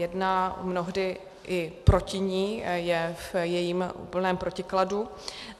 Jedná mnohdy i proti ní, je v jejím úplném protikladu.